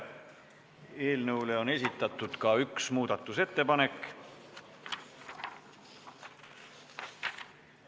Eelnõu muutmiseks on esitatud ka ettepanek.